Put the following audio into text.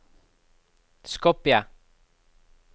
Skopje